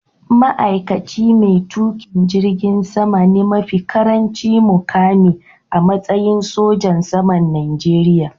Ma’aikaci mai tuƙin jirgin sama ne mafi ƙarancin muƙami a matsayi sojan saman Najeriya.